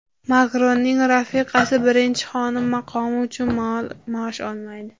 Makronning rafiqasi birinchi xonim maqomi uchun maosh olmaydi.